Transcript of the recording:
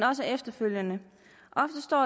og efterfølgende